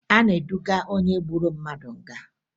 A na-eduga onye gburu mmadụ nga